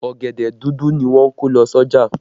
Ọ̀gẹ̀dẹ̀ dúdú ni wọ́n kó lọ sí ọjà